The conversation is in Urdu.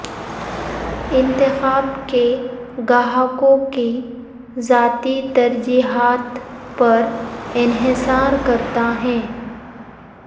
انتخاب کے گاہکوں کی ذاتی ترجیحات پر انحصار کرتا ہے